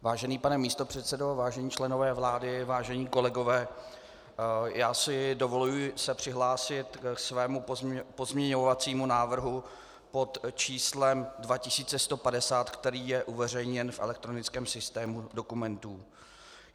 Vážený pane místopředsedo, vážení členové vlády, vážení kolegové, já si dovoluji se přihlásit k svému pozměňovacímu návrhu pod číslem 2150, který je uveřejněn v elektronickém systému dokumentů.